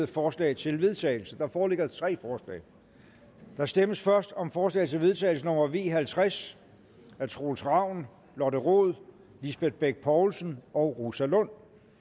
forslag til vedtagelse der foreligger tre forslag der stemmes først om forslag til vedtagelse nummer v halvtreds af troels ravn lotte rod lisbeth bech poulsen og rosa lund